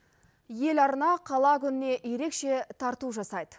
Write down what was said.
еларна қала күніне ерекше тарту жасайды